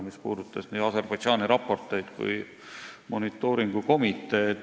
See puudutas nii Aserbaidžaani raporteid kui ka monitooringu komiteed.